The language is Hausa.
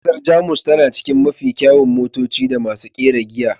Kasar Jamus tana cikin mafi kyawun motoci da masu kera giya.